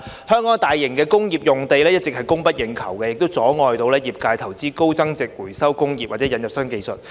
香港大型工業用地一直供不應求，阻礙業界投資高增值回收工業或引入新技術。